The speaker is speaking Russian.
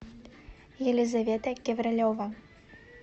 елизавета кеврелева